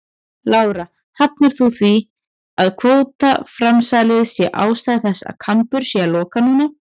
Lára: Hafnar þú því að kvótaframsalið sé ástæða þess að Kambur sé að loka núna?